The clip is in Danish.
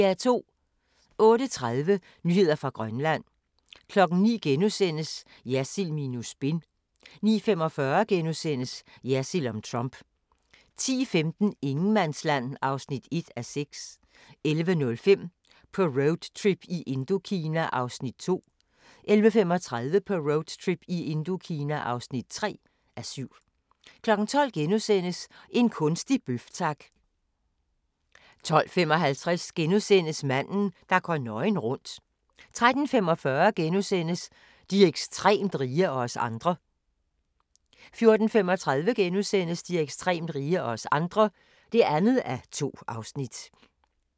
08:30: Nyheder fra Grønland 09:00: Jersild minus spin * 09:45: Jersild om Trump * 10:15: Ingenmandsland (1:6) 11:05: På roadtrip i Indokina (2:7) 11:35: På roadtrip i Indokina (3:7) 12:00: En kunstig bøf, tak! * 12:55: Manden, der går nøgen rundt * 13:45: De ekstremt rige – og os andre * 14:35: De ekstremt rige – og os andre (2:2)*